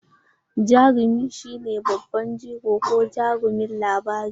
Jarumi shi ne babban jigo ko jarumin labari.